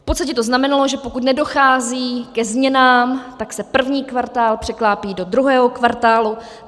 V podstatě to znamenalo, že pokud nedochází ke změnám, tak se první kvartál překlápí do druhého kvartálu.